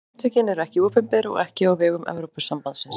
Samtökin eru ekki opinber og ekki á vegum Evrópusambandsins.